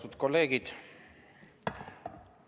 Austatud kolleegid!